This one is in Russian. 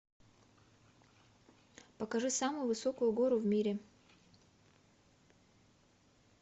покажи самую высокую гору в мире